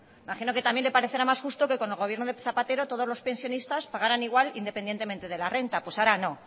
imagino que también le parecerá más justo que con el gobierno de zapatero todos los pensionistas pagaran igual independientemente de la renta pues ahora no